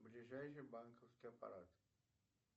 ближайший банковский аппарат